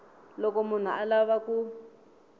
loko munhu a lava ku